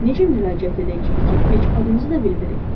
Necə müraciət edəcəyik ki, heç adınızı da bilmirik?